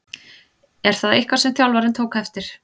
Er það eitthvað sem þjálfarinn tók eftir?